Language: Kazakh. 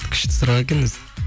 күшті сұрақ екен өзі